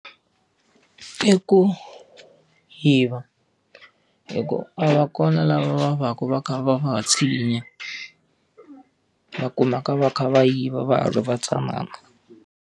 I ku yiva hikuva a va kona lava va va ka va kha va va tshinya. Va kumeka va kha va yiva va ha ri va ntsanana.